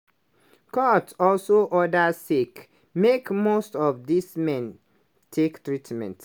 court also order sake make most of these men take treatment.